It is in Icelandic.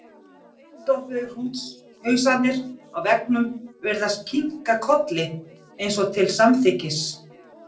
Uppstoppuðu hrútshausarnir á veggnum virðast kinka kolli, eins og til samþykkis.